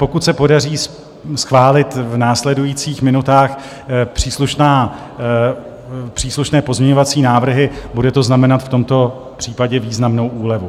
Pokud se podaří schválit v následujících minutách příslušné pozměňovací návrhy, bude to znamenat v tomto případě významnou úlevu.